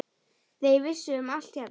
Þau vissu um allt hérna.